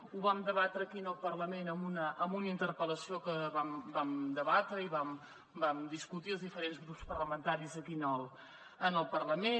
ho vam debatre aquí al parlament en una interpel·lació que vam debatre i vam discutir els diferents grups parlamentaris aquí al parlament